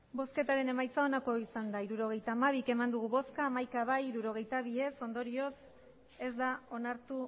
hirurogeita hamabi eman dugu bozka hamaika bai hirurogeita bi ez ondorioz ez da onartu